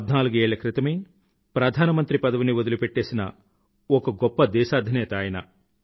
పధ్నాలుగు ఏళ్ల క్రితమే ప్రధానమంత్రి పదవిని వదిలిపెట్టేసిన ఒక గొప్ప దేశాధినేత ఆయన